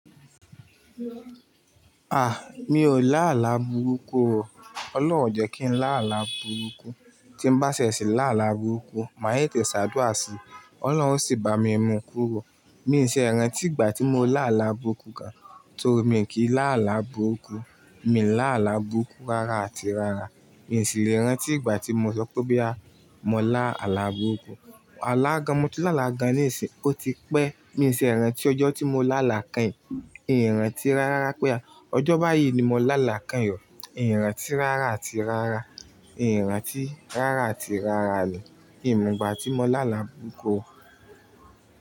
Ah! Mi ò lá àlá burúkú o. Ọlọ́run jẹ́ kí n lá àlá burúkú. Tí n bá ṣẹ̀ṣì lá àlá burúkú, màá yé tẹ̀ṣàdúà sí. Ọlọ́run sì bá mi mú kúrò. Mi n ṣe rantí ìgbà tí mo lá àlá burúkú gan. To mi kì í lá àlá burúkú. Mi lá àlá burúkú rárá àti rárá. Mi sì lè rantí ìgbà tí mo sọ pé bo ya mọ lá àlá burúkú. Alágan, mo ti lá àlá gan níìsín, ó ti pẹ́. Mi n ṣeẹ rantí ọjọ́ tí mo lá àlá kẹ́yìn. Ìran tí rárá pé à, ọjọ́ báyìí ni mo lá àlá kẹ́yìn o. Ìran tí rárá àti rárá. Ìran tí rárá àti rárá ni ìmo igbà tí mo lá àlá burúkú.